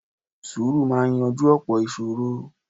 Sùúrù máa yanjú ọ̀pọ̀ ìṣòro.